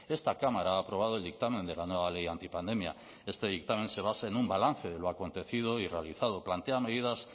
esta cámara ha aprobado el dictamen de la nueva ley antipandemia este dictamen se basa en un balance de lo acontecido y realizado plantea medidas